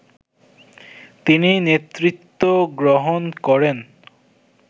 তিনি নেতৃত্ব গ্রহণ করেন